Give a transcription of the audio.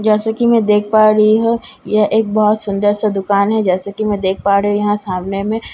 जैसे कि मैं देख पा रही हूं यह एक बहुत सुंदर से दुकान है जैसे की मैं देख पा रही हूं यहां सामने में--